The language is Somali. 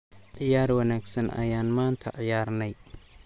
Ciyaar wanaagsan ayaan maanta ciyaarnay.